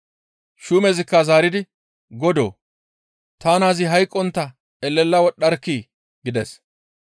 Shuumezikka zaaridi, «Godoo! Ta naazi hayqqontta elela wodhdharkkii!» gides.